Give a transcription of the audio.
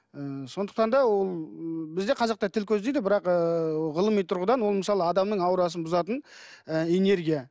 ы сондықтан да ол ы бізде қазақта тіл көз дейді бірақ ы ғылыми тұрғыдан оның мысалы адамның аурасын бұзатын ы энергия